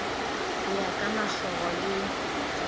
ho ya ka makgoro le